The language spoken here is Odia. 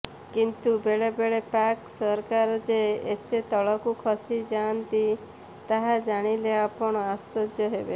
କିନ୍ତୁ ବେଳେବେଳେ ପାକ୍ ସରକାର ଯେ ଏତେ ତଳକୁ ଖସିଯାଆନ୍ତି ତାହା ଜାଣିଲେ ଆପଣ ଆଶ୍ଚର୍ଯ୍ୟ ହେବେ